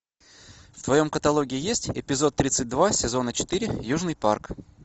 в твоем каталоге есть эпизод тридцать два сезона четыре южный парк